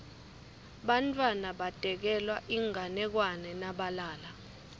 bantfwana batekelwa inganekwane nabalala